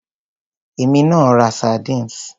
Èmi náà ra sardines.